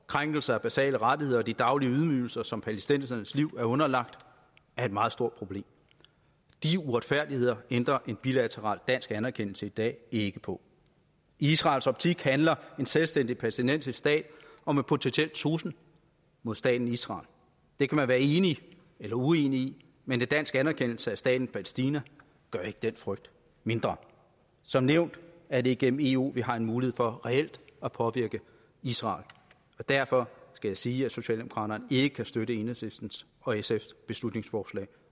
krænkelser af basale rettigheder og de daglige ydmygelser som palæstinensernes liv er underlagt er et meget stort problem de uretfærdigheder ændrer en bilateral dansk anerkendelse i dag ikke på i israels optik handler en selvstændig palæstinensisk stat om en potentiel trussel mod staten israel det kan man være enig eller uenig i men en dansk anerkendelse af staten palæstina gør ikke den frygt mindre som nævnt er det gennem eu vi har en mulighed for reelt at påvirke israel og derfor skal jeg sige at socialdemokraterne ikke kan støtte enhedslisten og sfs beslutningsforslag